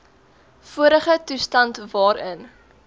vorige toestand waarin